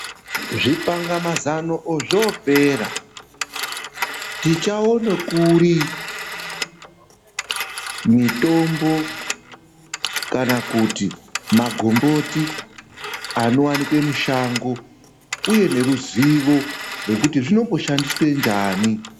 Zvipanga mazano ozvopera, tichawone kuri mitombo kana kuti magomboti anowanikwe mushango uye neruzivo kuti zvinomboshandiswe njani.